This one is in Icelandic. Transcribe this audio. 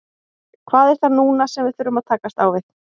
Hvað er það núna sem við þurfum að takast á við?